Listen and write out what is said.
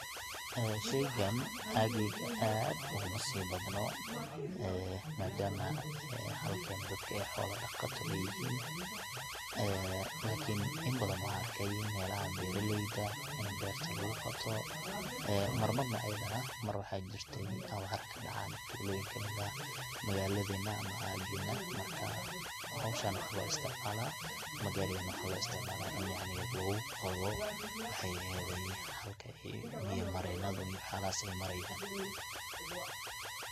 sheygan aageyga aad ogumasii badno ee madama halkan dadka ay xoolaha dhaqato yihin ee lakin in badan wan arke melaha beraleyda ini berta lugu qooto een marmar ayadana mar waxaa jirte an waxaraha kadhacan tuloyinka kamid ah magaladena aagena marka howshan waxaa loo isticmaala ama garigan waxaa loo isticmaala ini lugu qodo maxay eheyda halkuu ay biya mareenadu iyo wax yalahaas ay mareyan